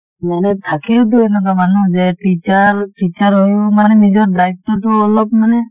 মানে থাকেও টো এনেকুৱা মানুহ যে teacher teacher হৈও মানে নিজৰ দায়িত্বটো অলপ মানে